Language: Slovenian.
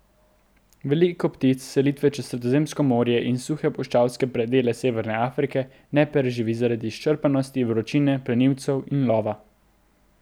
Veliko ptic selitve čez Sredozemsko morje in suhe, puščavske predele severne Afrike ne preživi zaradi izčrpanosti, vročine, plenilcev in lova.